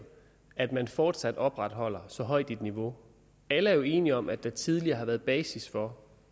at man fortsat opretholder så højt et niveau alle er jo enige om at der tidligere har været basis for